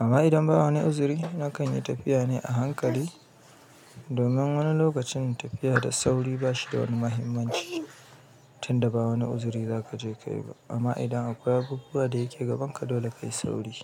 amma idan ba wani uzuri nakan yi tafiya ne a hankali. Domin, wani lokacin tafiya da sauri ba shi da wani mahimmanci. Tunda ba wani uzuri za ka je ka yi ba. Amma idan akwai abubuwa da yake gabanka dole ka yi sauri.